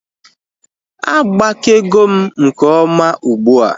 Agbakego m nke ọma ugbua